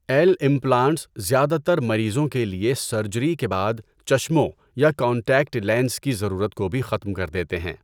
L implants زیادہ تر مریضوں کے لیے سرجری کے بعد چشموں یا کانٹیکٹ لینز کی ضرورت کو بھی ختم کر دیتے ہیں۔